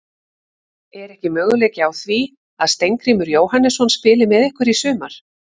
Er ekki möguleiki á því að Steingrímur Jóhannesson spili með ykkur í sumar?